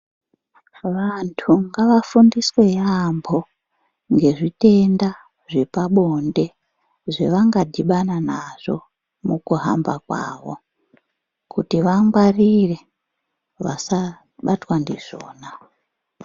Vantu ngavafundiswe yaampo ngezvitenda zvepabonde zvavangadhibana nazvo mukuhamba kwawo kuti vangwarire vasabatwa ndizvona.